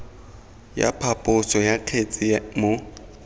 ya phaposo ya kgetse mo